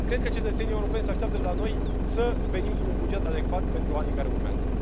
Cred că cetățenii europeni se așteaptă de la noi să venim cu un buget adecvat pentru anii care urmează.